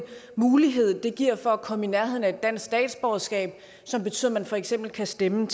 mulighed det giver for at komme i nærheden af et dansk statsborgerskab så man for eksempel kan stemme